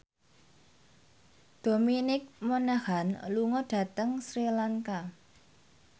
Dominic Monaghan lunga dhateng Sri Lanka